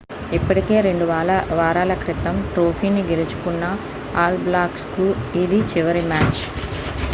ఇప్పటికే 2 వారాల క్రితం ట్రోఫీని గెలుచుకున్న ఆల్ బ్లాక్స్కు ఇది చివరి మ్యాచ్